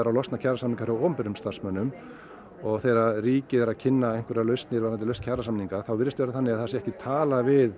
að losna kjarasamningar hjá opinberum starfsmönnum og þegar ríkið er að kynna einhverjar lausnir varðandi lausn kjarasamninga þá virðist það vera þannig að það sé ekki talað við